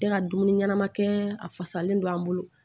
Tɛ ka dumuni ɲɛnama kɛ a fasalen don an bolo